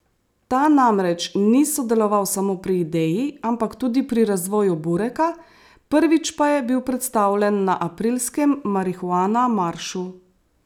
Ta namreč ni sodeloval samo pri ideji, ampak tudi pri razvoju bureka, prvič pa je bil predstavljen na aprilskem Marihuana Maršu.